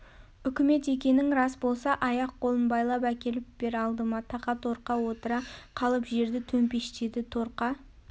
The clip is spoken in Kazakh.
ұкімет екенің рас болса аяқ-қолын байлап әкеліп бер алдыма тақа торқа отыра қалып жерді төмпештеді торқа